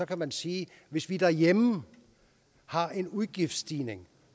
kan man sige at hvis vi derhjemme har en udgiftsstigning